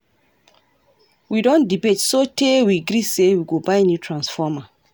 We don debate sotee we gree sey we go buy new transformer.